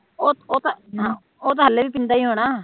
ਉਹ ਤਾ ਹਲੇ ਵੀ ਪੀਂਦਾ ਹੀ ਹੋਣਾ